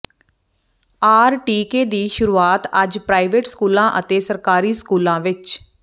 R ਟੀਕੇ ਦੀ ਸ਼ੁਰੂਆਤ ਅੱਜ ਪ੍ਰਾਈਵੇਟ ਸਕੂਲਾਂ ਅਤੇ ਸਰਕਾਰੀ ਸਕੂਲਾਂ ਵਿਚ ਡਾ